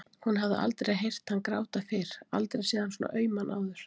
Hún hafði aldrei heyrt hann gráta fyrr, aldrei séð hann svona auman áður.